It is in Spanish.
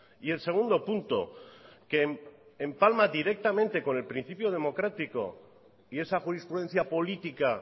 y el segundo punto que empalma directamente con el principio democrático y esa jurisprudencia política